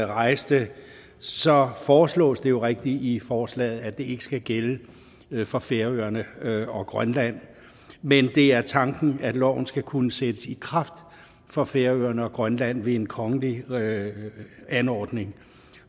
rejste så foreslås det jo rigtigt i forslaget at det ikke skal gælde for færøerne og grønland men det er tanken at loven skal kunne sættes i kraft for færøerne og grønland ved en kongelig anordning